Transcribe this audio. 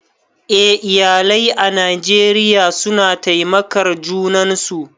Eh, iyalai a Najeriya suna taimakar junan su